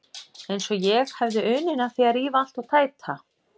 Eins og ég hefði unun af því að rífa allt og tæta.